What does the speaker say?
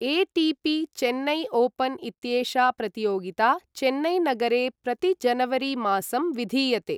ATP. Chennai open इत्येषा प्रतियोगिता चेन्नैनगरे प्रतिजनवरीमासं विधीयते।